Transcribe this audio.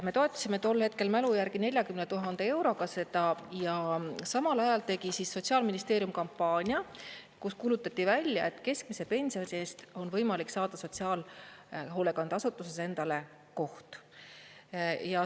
Me toetasime tol hetkel mälu järgi 40 000 euroga seda ja samal ajal tegi Sotsiaalministeerium kampaania, kus kuulutati välja, et keskmise pensioni eest on võimalik saada sotsiaalhoolekandeasutuses endale koht.